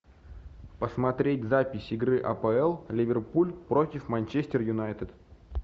посмотреть запись игры апл ливерпуль против манчестер юнайтед